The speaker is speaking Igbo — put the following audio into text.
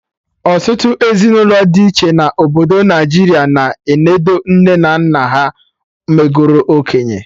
Ọtụtụ ezinụlọ dị iche na obodo Naijiria na enodo nne na nna ha megoro okenye